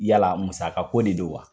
Yala muskako de don wa?